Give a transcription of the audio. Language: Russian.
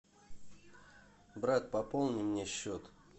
брат пополни мне счет